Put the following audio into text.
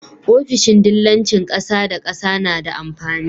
ofishin dillancin ƙasa da ƙasa nada amfani